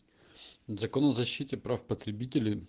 закон о защите прав потребителей